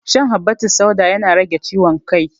Shan habbatussauda yana rage ciwon kai